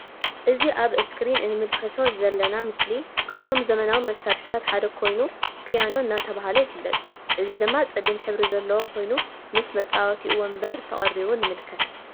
እዚ ኣብ እብ እስክሪን እንምልከቶ ዘለና ምስሊ ካብቶም ዘመናዊ መሳርሕታት ሓደ ኮይኑ ፖያኖ እንዳተብሃለ ይፍለጥ ።እዚ ድማ ጸሊም ሕብሪ ዘልዎ ኮይኑ ምስ መጻዊቲኡ ወንበር ተቀሪቡ ንምልከት።